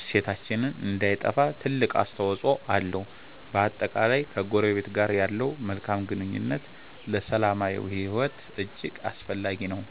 እሴታችን እንዳይጠፋ ትልቅ አስተዋፅኦ አለው። በአጠቃላይ፣ ከጎረቤት ጋር ያለው መልካም ግንኙነት ለሰላማዊ ሕይወት እጅግ አስፈላጊ ነው።